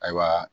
Ayiwa